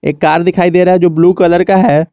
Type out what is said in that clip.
एक कार दिखाई दे रहा है जो ब्लू कलर का है।